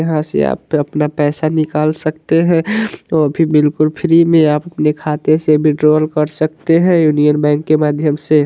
यहाँ से आप अपना पैसा निकाल सकते है वो भी बिलकुल फ्री में आप अपने खाते से विथड्रॉल कर सकते है इंडियन बैंक के माध्यम से।